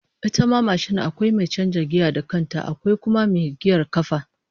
Ita ma mashin akwai mai canjin giya da kanta, akwai kuma mai giyar kafa